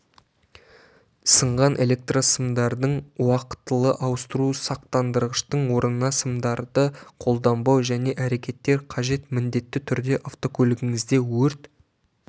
сынған электрсымдарын уақытылы ауыстыру сақтандырғыштың орнына сымдарды қолданбау және әрекеттер қажет міндетті түрде автокөлігіңізде өрт